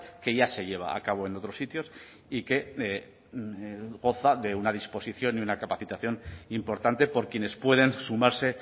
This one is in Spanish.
que ya se lleva a cabo en otros sitios y que goza de una disposición y una capacitación importante por quienes pueden sumarse